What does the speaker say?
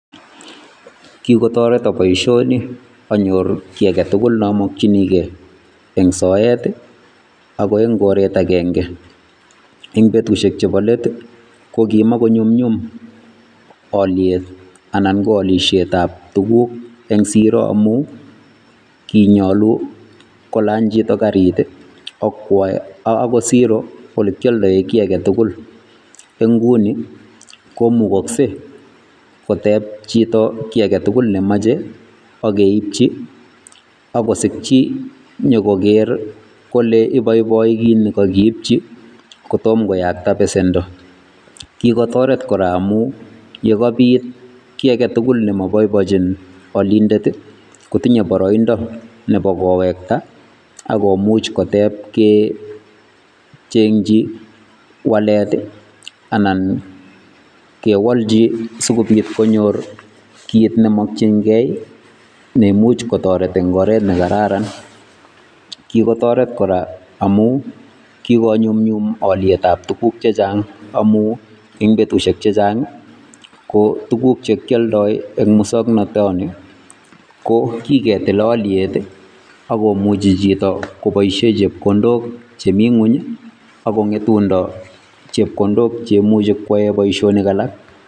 Kikotoreto boishoni anyor kiy aketukul neamokchinikei eng soet ako eng koret akenke. Eng betushek chepo let, ko kimakonyumnyum olyet anan ko alishetap tuguk eng siro amu kinyolu kolany chito karit, akwo ako siro olekyoldoe kiy aketukul. Eng nguni, komukoksei koteb chito kiy aketukul nemoche, akeipchi, ak kosikchi nyokoker kole iboiboi kit nekakeipchi kotom koyakta besendo. Kikotoret kora amu yekabit kiy aketukul nemaboibochin alindet, kotinye boroindo nepo kowekta akomuch kotep kecheng'chi walet anan kewolchi sikobit konyor kit nemokchinkei neimuch kotoret eng oret nekararan. Kikotoret kora amu kikonyumnyum olyetap tuguk chechang amu eng betushek chechang ko tuguk chekyoldoi eng musoknotoni, ko kiketil alyet, ak komuchi chito koboishe chepkondok chemi ng'uny, akong'etundo chepkondok cheimuchi kwae boishonik alak.